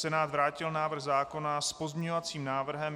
Senát vrátil návrh zákona s pozměňovacím návrhem.